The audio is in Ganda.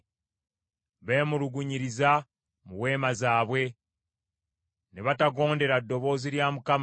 Beemulugunyiriza mu weema zaabwe, ne batagondera ddoboozi lya Mukama .